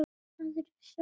Aðrir sögðu: